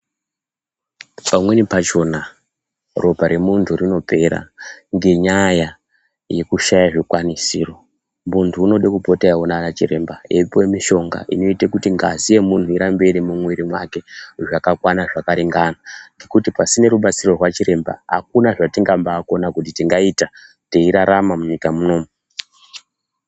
Pamweni pachona ropa remuntu rinopera ngenyaya yekushaya zvikwanisiro, muntu unode kupota eiona ana chiremba eipiwe mishonga inoite kuti ngazi yemuntu irambe iri mumwiri mwake zvakakwana zvakaringana ngekuti pasina rubatsiro rwachiremba akuna zvetingaba kona kuti tingaita teirarama munyika muno.